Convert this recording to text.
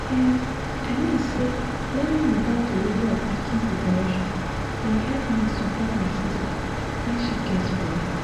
um i mean say learning about delivery of pikin preparation bin help me support my sister when she gets belle